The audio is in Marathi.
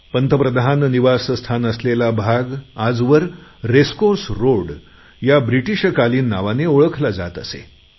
पंतप्रधान निवासस्थान असलेला भाग आजवर रेसकोर्स रोड या ब्रिटीशकालीन नावाने ओळखला जात असे